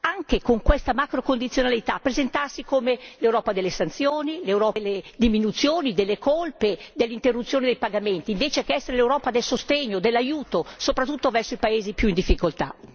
anche con questa macrocondizionalità, a presentarsi come l'Europa delle sanzioni, delle diminuzioni, delle colpe e dell'interruzione dei pagamenti, invece che essere l'Europa del sostegno e degli aiuti, soprattutto verso i paesi più in difficoltà.